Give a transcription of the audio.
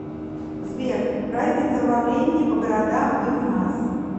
сбер разница во времени по городам и у нас